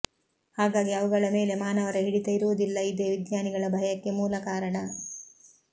ಹಾಗಾಗಿ ಅವುಗಳ ಮೇಲೆ ಮಾನವರ ಹಿಡಿತ ಇರುವುದಿಲ್ಲ ಇದೆ ವಿಜ್ಞಾನಿಗಳ ಭಯಕ್ಕೆ ಮೂಲ ಕಾರಣ